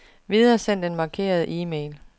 Videresend den markerede e-mail.